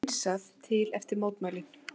Hreinsað til eftir mótmælin